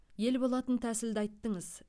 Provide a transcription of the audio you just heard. ел болатын тәсілді айттыңыз